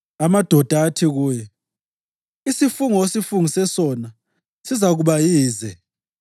Amadoda athi kuye, “Isifungo osifungise sona sizakuba yize